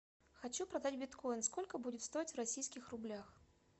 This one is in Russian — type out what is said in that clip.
хочу продать биткоин сколько будет стоить в российских рублях